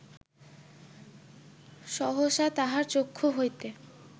সহসা তাহার চক্ষু হইতে